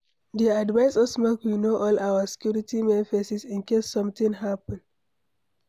Dey advice us make we know all our security men faces in case something happen.